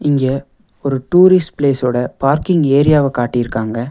இங்க ஒரு tourist place ஓட பார்க்கிங் ஏரியாவ காட்டிருக்காங்க.